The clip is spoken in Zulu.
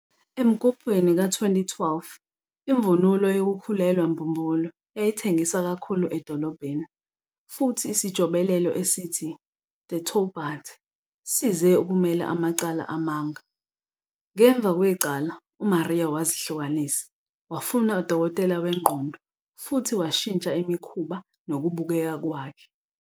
Emgubhweni ka-2012, imvunulo yokukhulelwa mbumbulu yayithengiswa kakhulu edolobheni, futhi isijobelelo esithi "de Taubaté" size ukumela amacala amanga. Ngemva kwecala, uMaria wazihlukanisa, wafuna udokotela wengqondo futhi washintsha imikhuba nokubukeka kwakhe.